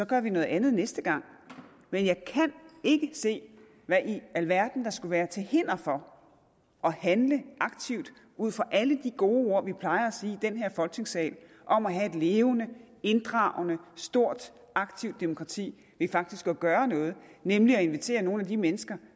gør vi noget andet næste gang men jeg kan ikke se hvad i alverden der skulle være til hinder for at handle aktivt ud fra alle de gode ord vi plejer at sige i den her folketingssal om at have et levende inddragende stort og aktivt demokrati ved faktisk at gøre noget nemlig at invitere nogle af de mennesker